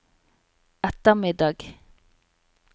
ettermiddag